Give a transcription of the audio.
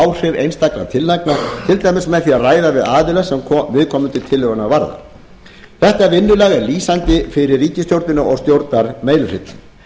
áhrif einstakra tillagna til dæmis með því að ræða við aðila sem viðkomandi tillögunnar varðar þetta vinnulag er lýsandi fyrir ríkisstjórnina og stjórnarmeirihlutann